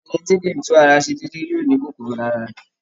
Ẹ̀ni tí kìí tún ara ṣe déédé yóò ní kòkòrò lára rẹ